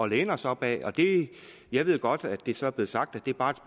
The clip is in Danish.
læne os op ad og jeg ved godt at det så er blevet sagt at det bare